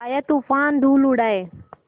आया तूफ़ान धूल उड़ाए